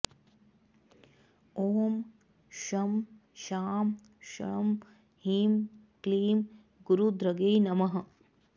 ॐ शं शां षं ह्रीं क्लीं गुरुधृगे नमः